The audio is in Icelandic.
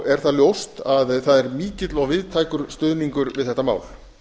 er það ljóst að það er mikill og víðtækur stuðningur við þetta mál